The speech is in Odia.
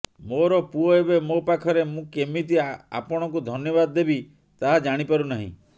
ମୋର ପୁଅ ଏବେ ମୋ ପାଖରେ ମୁଁ କେମିତି ଆପଣଙ୍କୁ ଧନ୍ୟବାଦ ଦେବି ତାହା ଜାଣିପାରୁ ନାହିଁ